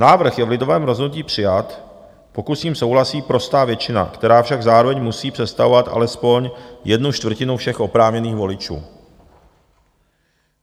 Návrh je v lidovém rozhodnutí přijat, pokud s ním souhlasí prostá většina, která však zároveň musí představovat alespoň jednu čtvrtinu všech oprávněných voličů.